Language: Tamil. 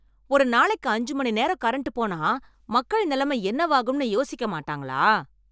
ஒரு நாளைக்கு ஐஞ்சு மணி நேரம் கரண்ட் போனா மக்கள் நிலைமை என்னவாகும்ன்னு யோசிக்க மாட்டாங்களா?